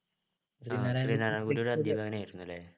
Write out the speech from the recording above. ആ ശ്രീനാരായണഗുരു അധ്യാപകനായിരുന്നുല്ലേ